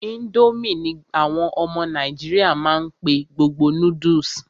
Ińdómì ní àwọn ọmọ nàìjíríà má n pé gbogbo noodles.